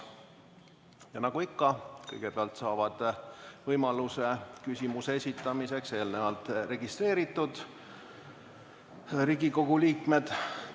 Ja nagu ikka, kõigepealt saavad võimaluse küsimuse esitamiseks eelnevalt registreeritud Riigikogu liikmed.